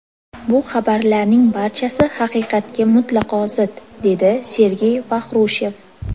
Bu xabarlarning barchasi haqiqatga mutlaqo zid”, dedi Sergey Vaxrushev.